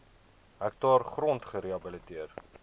hektaar grond gerehabiliteer